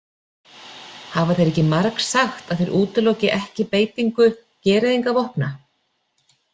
Hafa þeir ekki margsagt að þeir útiloki ekki beitingu gereyðingarvopna?